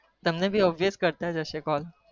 તમને કરતા જ હશે